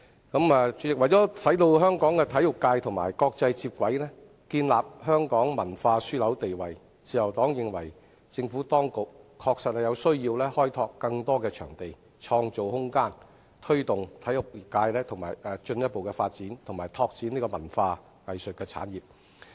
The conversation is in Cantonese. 代理主席，為使香港的體育界與國際接軌、建立香港文化樞紐地位，自由黨認為政府當局確實有需要開拓更多場地、創造空間，推動體育界進一步發展及拓展文化藝術產業。